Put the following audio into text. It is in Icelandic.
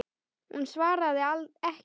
Hún svaraði ekki.